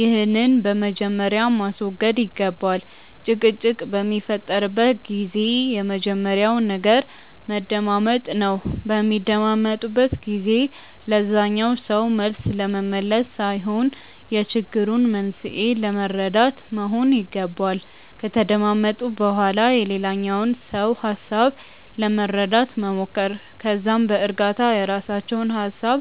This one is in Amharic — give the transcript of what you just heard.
ይህንን በመጀመሪያ ማስወገድ ይገባል። ጭቅጭቅ በሚፈጠርበት ጊዜ የመጀመሪያው ነገር መደማመጥ ነው። በሚደማመጡበት ጊዜ ለዛኛው ሰው መልስ ለመመለስ ሳይሆን የችግሩን መንስኤ ለመረዳት መሆን ይገባል። ከተደማመጡ በኋላ የሌላኛውን ሰው ሀሳብ ለመረዳት መሞከር። ከዛም በእርጋታ የራሳቸውን ሀሳብ